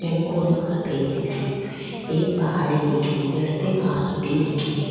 को रंग सफ़ेद दिखे रो एक पहाड़ी दिखे री जड़ पे घास उगी दिखे री।